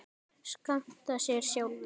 skammta sér sjálfir